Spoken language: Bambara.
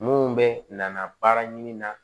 Mun bɛ nana baara ɲini na